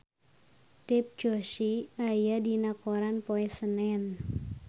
Dev Joshi aya dina koran poe Senen